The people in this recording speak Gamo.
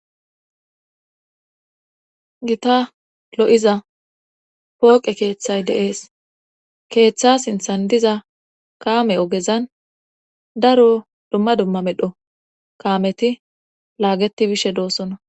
Gita lo7iza pooqe keeththay deees keeththa sinthan diza kaame ogezan daro dumma dumma medho kaameti laageti bishe doossona.